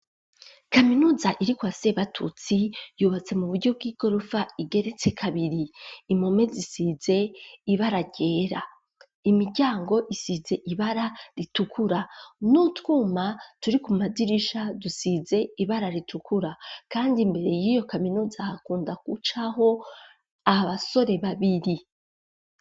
Kaminuza irikwase batutsi ,yubatse mu buryo bw'igorofa, igeretse kabiri ,impome zisize ibara ryera, imiryango isize ibara ritukura ,n'utwuma turi ku madirisha dusize ibara ritukura ,kandi imbere y'iyo kaminuza hakunda gucaho abasore babiri.